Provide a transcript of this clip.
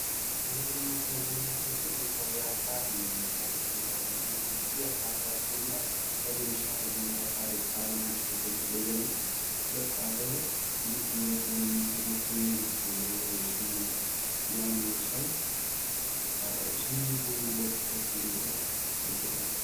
ተፈጥሮ እና አካባቢን በምናይበት ጊዜ ለምሳሌ አፋርን የአፋርን እሳተ-ገሞራ ከሌሎች እሳተ-ገሞራወች ከአለማችን ካሉት ይለያል።